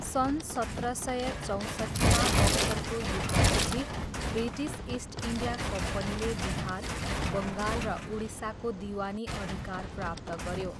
सन् सत्र सय चौँसट्ठीमा बक्सरको युद्धपछि, ब्रिटिस इस्ट इन्डिया कम्पनीले बिहार, बङ्गाल र उडिसाको दिवानी अधिकार प्राप्त गऱ्यो।